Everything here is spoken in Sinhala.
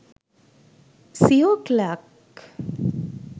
seo clerks